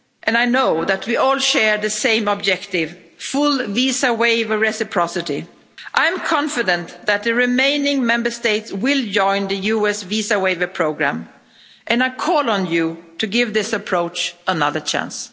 I know that we all share the same objective full visa waiver reciprocity. I'm confident that the remaining Member States will join the US visa waiver programme and I call on you to give this approach another chance.